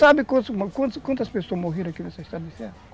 Você sabe quantas quantas pessoas morreram aqui nessa estrada de ferro?